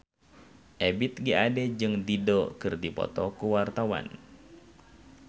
Ebith G. Ade jeung Dido keur dipoto ku wartawan